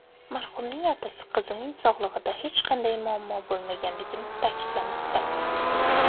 Marhumning otasi qizining sog‘lig‘ida hech qanday muammo bo‘lmaganligini ta’kidlamoqda.